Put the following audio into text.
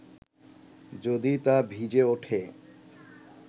যদি তা ভিজে ওঠে